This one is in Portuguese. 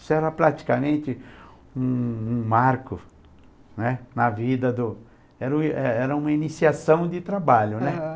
Isso era praticamente um um marco, né, na vida do... Era é era uma iniciação de trabalho, né?